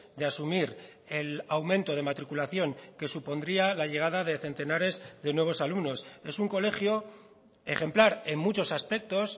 de asumir el aumento de matriculación que supondría la llegada de centenares de nuevos alumnos es un colegio ejemplar en muchos aspectos